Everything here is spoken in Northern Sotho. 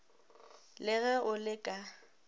le ge o le ka